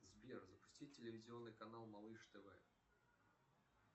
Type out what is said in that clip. сбер запусти телевизионный канал малыш тв